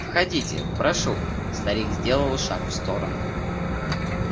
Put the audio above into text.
входите прошу старик сделал шаг в сторону